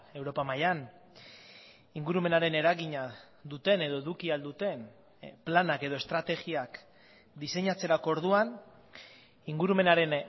europa mailan ingurumenaren eragina duten edo eduki ahal duten planak edo estrategiak diseinatzerako orduan ingurumenaren